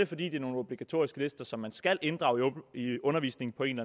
fordi det er nogle obligatoriske lister som man skal inddrage i undervisningen på en